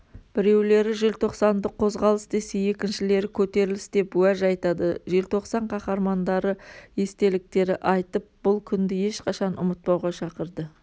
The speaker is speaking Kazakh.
біреулері желтоқсанды қозғалыс десе екіншілері көтеріліс деп уәж айтады желтоқсан қаһармандары естеліктері айтып бұл күнді ешқашан ұмытпауға шақырды